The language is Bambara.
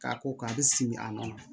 K'a ko k'a bɛ simi a nɔ na